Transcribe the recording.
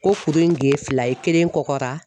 Ko kuru in ge fila ye kelen kɔkɔra.